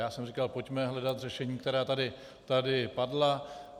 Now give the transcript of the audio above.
Já jsem říkal: Pojďme hledat řešení, která tady padla.